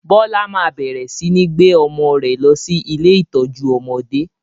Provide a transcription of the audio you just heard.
Bọlá máa bẹ̀rẹ̀ sini gbé ọmọ rẹ lọ sí ilé ìtọ́jú ọmọdé.